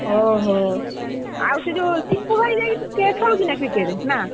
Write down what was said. ଓହୋ ଆଉ ସେ ଯୋଉ ସିପୁ ଭାଇ ଯାଇକି ନା cricket ଖେଳୁଛି ନା cricket ନା?